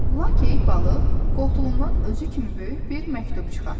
Lakey balıq qoltuğundan özü kimi böyük bir məktub çıxartdı.